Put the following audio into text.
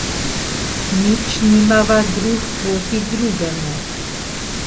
Nič nimava drug proti drugemu.